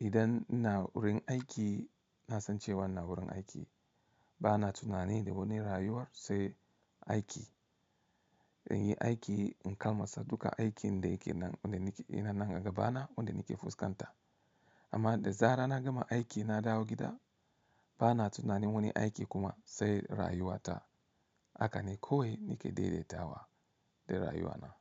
idan ina wurin aiki na san cewa ina wurin aiki. Bana tunani da wani rayuwar sai aiki. In yi aiki in kalmasa duka aikin da yake nan, ina nan gaba na, wandanake fuskanta. Amma da zarar na gama aiki na dawo gida, bana tunani wani aiki kuma sai rayuwa ta. Haka ne kawai nake daidaitawa da rayuwa na.